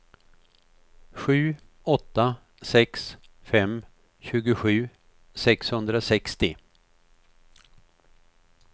sju åtta sex fem tjugosju sexhundrasextio